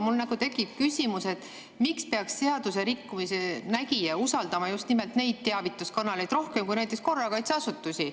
Mul tekib küsimus, et miks peaks seadusrikkumise nägija usaldama just nimelt neid teavituskanaleid rohkem kui näiteks korrakaitseasutusi.